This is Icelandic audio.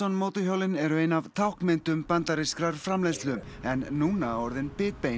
mótorhjólin eru ein af táknmyndum bandarískrar framleiðslu en núna orðin bitbein